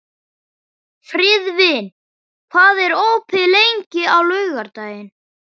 Friðvin, hvað er opið lengi á laugardaginn?